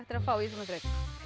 að fá í svona þraut